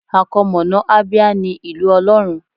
Àkọmọ̀nà Abia ní Ìlú Ọlọ́run.